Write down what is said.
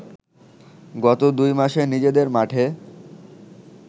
গত দুই মাসে নিজেদের মাঠে